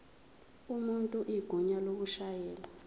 umuntu igunya lokushayela